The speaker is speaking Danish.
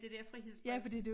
Det der frihedsbrev